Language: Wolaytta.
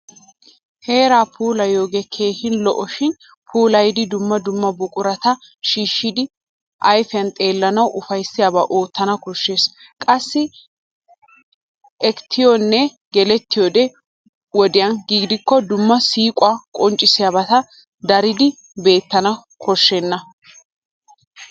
Heeraa puulayiyoogee keehin lo'es shin puulayiiddi dumma dumma buqurata shiishshidi ayfiyan xeellanawu ufayssiyaaba oottana koshshes. Qassi ekettiyonne gelettiyoode wodiya gidikko dumma siiquwa qonccissiyabati daridi beettana koshshoosona.